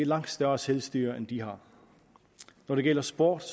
langt større selvstyre end de har når det gælder sport